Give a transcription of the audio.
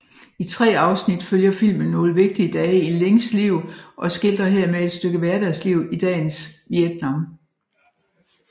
I tre afsnit følger filmen nogle vigtige dage i Lings liv og skildrer hermed et stykke hverdagsliv i dagens Vietnam